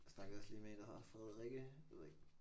Jeg snakkede også lige med en der hedder Frederikke jeg ved ikke